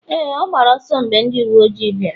Éè, ọ gbara ọsọ mgbe ndị uwe ojii bịara